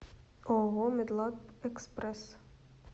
ооо медлаб экспресс